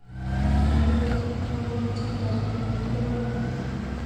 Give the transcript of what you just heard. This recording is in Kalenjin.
Nerube, trompen tyendo nikakilewen.